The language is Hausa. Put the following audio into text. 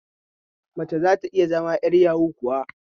Mace zata iya zama 'yar yahu kuwa?